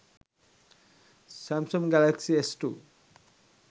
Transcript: samsung galaxy s2